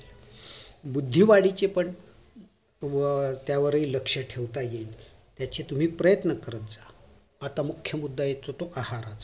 बुद्धी वाढीचे पण व त्यावरील लक्ष ठेवता येईल त्याचे तुम्ही प्रयत्न करत जा आता मुख्य मुद्दा एक येतो आहाराचा